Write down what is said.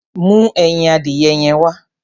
Mú ẹyin adìyẹ yẹn wá.